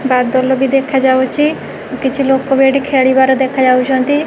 ବାଦଲ ବି ଦେଖାଯାଉଚି କିଛି ଲୋକ ବି ଏଠି ଖେଳିବାର ଦେଖାଯାଉଚନ୍ତି।